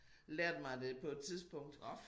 Lært mig det på et tidspunkt